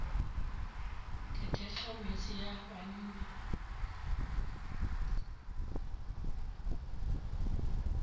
ke thekga metse ya banna